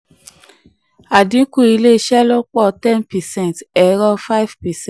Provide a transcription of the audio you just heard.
àdínkù ilé ìṣelọ́pọ̀ ten percent ẹ̀rọ five percent